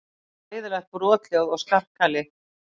Hræðileg brothljóð og skarkali.